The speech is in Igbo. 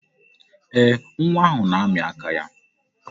Ee, nwa ahụ na-amị aka ya.